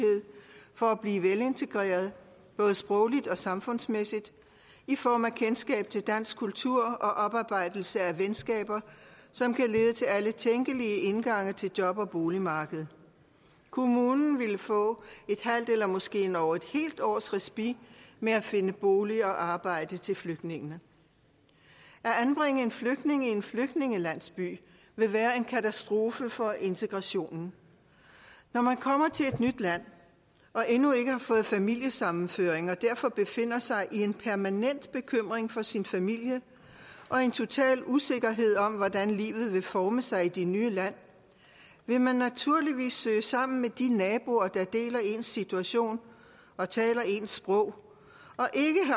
for at blive velintegreret både sprogligt og samfundsmæssigt i form af kendskab til dansk kultur og oparbejdelse af venskaber som kan lede til alle tænkelige indgange til job og boligmarkedet og kommunen ville få et halvt eller måske endog et helt års respit med at finde bolig og arbejde til flygtningen at anbringe en flygtning i en flygtningelandsby vil være en katastrofe for integrationen når man kommer til et nyt land og endnu ikke har fået familiesammenføring og derfor befinder sig i en permanent bekymring for sin familie og i total usikkerhed om hvordan livet vil forme sig i det nye land vil man naturligvis søge sammen med de naboer der deler ens situation og taler ens sprog